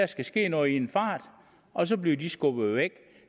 skal ske noget i en fart og så bliver de skubbet væk